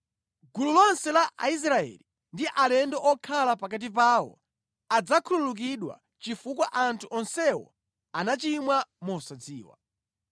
Gulu lonse la Aisraeli ndi alendo okhala pakati pawo adzakhululukidwa chifukwa anthu onsewo anachimwa mosadziwa.